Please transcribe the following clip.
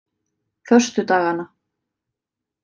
föstudaganna